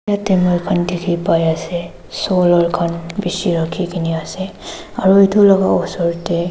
yatae moikhan dikhipai ase solar khan bishi rakhikena ase aro edu laka osor tae--